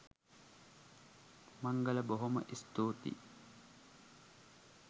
මංගල බොහොම ස්තූතියි.